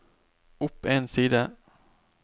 opp en side